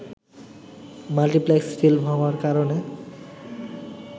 multiplex film হওয়ার কারণে